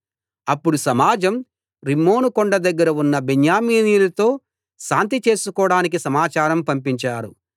అప్పుడు సమాజం రిమ్మోను కొండ దగ్గర ఉన్న బెన్యామీనీయులతో శాంతి చేసుకోడానికి సమాచారం పంపించారు